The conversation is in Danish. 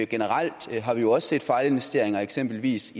generelt har vi også set fejlinvesteringer eksempelvis